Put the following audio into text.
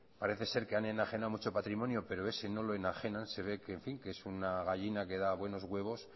parece ser que han enajenado mucho patrimonio pero ese no lo enajenan se ve que es una gallina que da buenos huevos